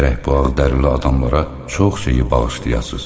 Gərək bu ağdərili adamlara çox şeyi bağışlayasız.